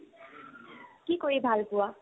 কি কৰি ভাল পোৱা ?